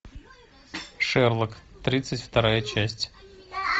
шерлок тридцать вторая часть